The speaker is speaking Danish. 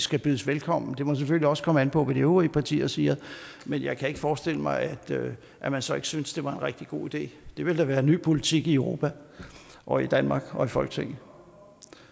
skal bydes velkommen det må selvfølgelig også komme an på hvad de øvrige partier siger men jeg kan ikke forestille mig at man så ikke synes det var en rigtig god idé det ville da være en ny politik i europa og i danmark og i folketinget